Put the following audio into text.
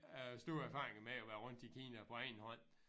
Øh store erfaringer med at være rundt i Kina på egen hånd